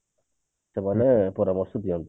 ସେମାନେ ପରାମର୍ଶ ଦିଅନ୍ତି